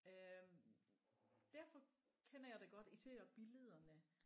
Øh derfor kender jeg det godt især billederne